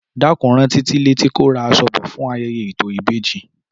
Dákun rán Títí létí kó ra aṣọ bò fún ayẹyẹ ètò ìbejí